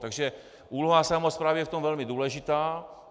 Takže úloha samosprávy je v tom velmi důležitá.